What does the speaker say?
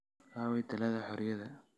aaway taalada xoriyada